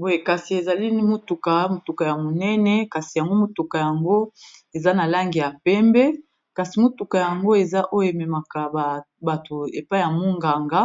boye kasi ezali motuka, motuka ya monene kasi yango motuka yango eza na langi ya pembe kasi motuka yango eza oyo ememaka bato epa ya monganga